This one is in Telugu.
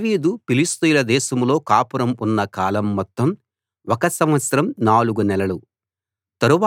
దావీదు ఫిలిష్తీయుల దేశంలో కాపురం ఉన్న కాలం మొత్తం ఒక సంవత్సరం నాలుగు నెలలు